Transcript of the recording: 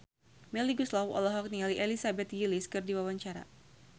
Melly Goeslaw olohok ningali Elizabeth Gillies keur diwawancara